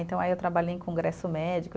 Então, aí eu trabalhei em congresso médico.